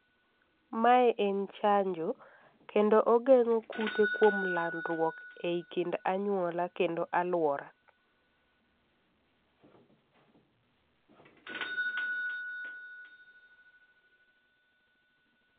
mae en chanjo kendo ogengo kute kuom landruok ei kind anyuola kendo aluora